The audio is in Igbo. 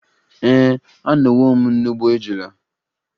Ee, anọwo m n'ugbo ejula.